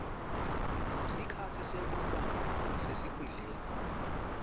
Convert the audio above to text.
sikhatsi sekuba sesikhundleni